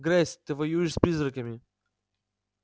грейс ты воюешь с призраками